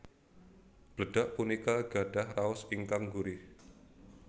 Bledag punika gadhah raos ingkang gurih